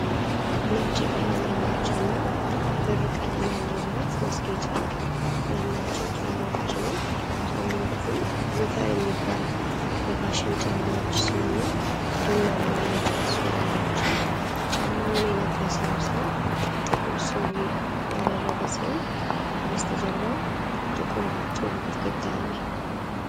ነጭ ቀለም ያላቸውና ብር ቀለም ያለው ብረት ማስጌጫ ያላቸውን ጫማዎች ነው። ጫማዎቹ ሎፈር የሚባሉ የፋሽን ጫማዎች ሲሆኑ ቡናማ የእንጨት ሶል አላቸው። ጫማውን የለበሰው ሰው ጥቁር ሱሪ ያደረገ ሲሆን ከበስተጀርባው ጥቁር ጡብ ግድግዳ አለ።